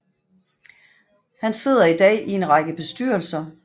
Han sidder i dag i en række bestyrelser